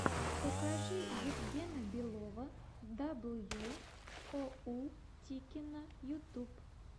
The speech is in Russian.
покажи евгена белова дабл ю оу тикино ютуб